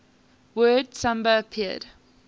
word samba appeared